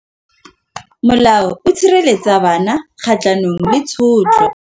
Molao o sireletsa bana kgatlhanong le tshotlo.